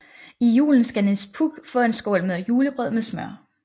I julen skal Nis Puk få en skål med julegrød med smør